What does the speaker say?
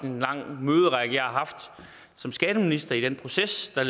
en lang række møder jeg har haft som skatteminister i den proces der